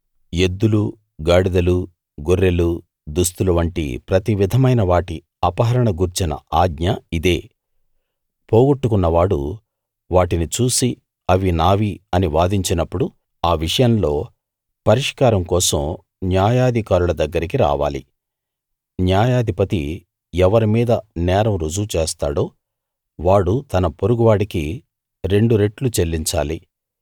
ఎద్దులు గాడిదలు గొర్రెలు దుస్తులు వంటి ప్రతి విధమైన వాటి అపహరణ గూర్చిన ఆజ్ఞ ఇదే పోగొట్టుకున్నవాడు వాటిని చూసి అవి నావి అని వాదించినప్పుడు ఆ విషయంలో పరిష్కారం కోసం న్యాయాధికారుల దగ్గరికి రావాలి న్యాయాధిపతి ఎవరి మీద నేరం రుజువు చేస్తాడో వాడు తన పొరుగువాడికి రెండు రెట్లు చెల్లించాలి